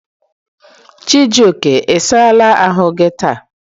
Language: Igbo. Chijoke, i saala ahu gi taa?